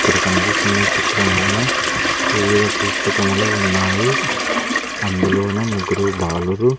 ఇక్కడ కనిపిస్తున్న చిత్రంలోన వివిధ పుస్తకములు ఉన్నాయి అందులోన ముగ్గురు బాలురు.